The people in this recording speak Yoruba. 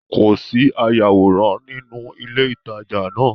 Kò sí ayàwòrán nínú ilé ìtajà náà